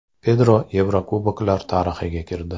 Pedro Yevrokuboklar tarixiga kirdi.